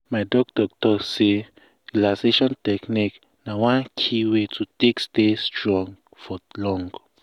my doctor talk say relaxation technique na one key way to take stay strong for long.